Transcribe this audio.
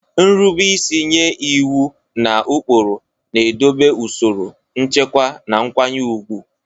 Nrube isi nye iwu na ụkpụrụ na-edobe usoro, nchekwa, na nkwanye ùgwù.